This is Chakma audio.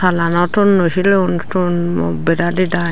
salano tonnoi sileyon tonnoi bera didai.